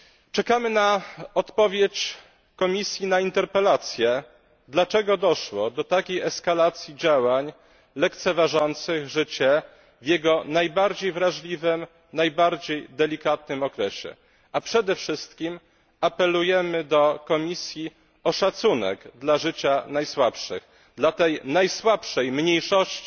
Czekamy na odpowiedź Komisji na interpelację, dlaczego doszło do takiej eskalacji działań lekceważących życie w jego najbardziej wrażliwym, najbardziej delikatnym okresie, a przede wszystkim apelujemy do Komisji o szacunek dla życia najsłabszych, dla tej mniejszości